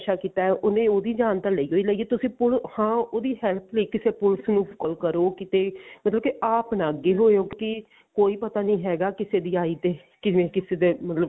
ਕੀਤਾ ਉਹਨੇ ਉਹਦੀ ਜਾਨ ਤਾਂ ਲਈ ਹੀ ਲਈ ਆ ਉਹਦੀ help ਲਈ ਕਿਸੇ ਪੁਲਸ ਨੂੰ call ਕਰੋ ਕਿਤੇ ਮਤਲਬ ਕਿ ਆਪ ਨਾ ਅੱਗੇ ਹੋਏਓ ਕੋਈ ਪਤਾ ਨੀ ਹੈਗਾ ਕਿਸੇ ਦੀ ਆਈ ਤੇ ਕਿਵੇਂ ਕਿਸੇ ਦੇ ਮਤਲਬ